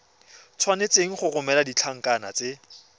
tshwanetse go romela ditlankana tse